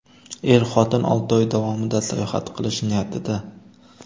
Er-xotin olti oy davomida sayohat qilish niyatida.